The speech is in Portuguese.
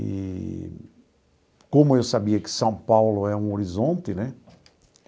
Eee como eu sabia que São Paulo é um horizonte, né?